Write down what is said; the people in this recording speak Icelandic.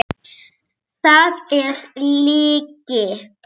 Það er lygi!